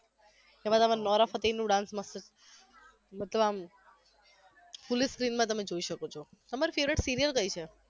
તમારે આમા નોરા ફતેહીનું dance મસ્ત છે તમે આમ fully screen માં તમે જોઈ શકો છો તમારી favourite serial કઈ છે?